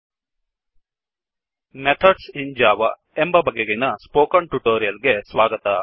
methods in Java methods in Java ಎಂಬ ಬಗೆಗಿನ spoken tutorial ಗೆ ಸ್ವಾಗತ